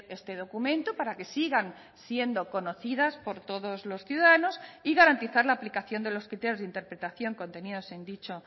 este documento para que sigan siendo conocidas por todos los ciudadanos y garantizar la aplicación de los criterios de interpretación contenidos en dicho